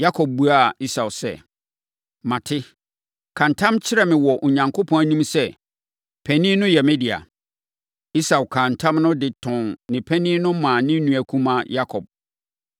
Yakob buaa Esau sɛ, “Mate, ka ntam kyerɛ me wɔ Onyankopɔn anim sɛ, panin no yɛ me dea.” Esau kaa ntam no de tɔn ne panin no maa ne nua kumaa Yakob.